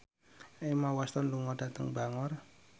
Emma Watson lunga dhateng Bangor